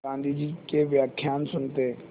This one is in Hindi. गाँधी जी के व्याख्यान सुनते